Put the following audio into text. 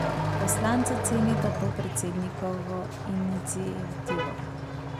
Poslanca cenita to predsednikovo iniciativo.